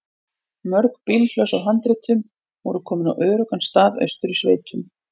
Mörg bílhlöss af handritum voru komin á öruggan stað austur í sveitum.